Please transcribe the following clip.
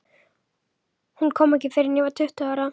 Hún kom ekki fyrr en ég var tuttugu ára.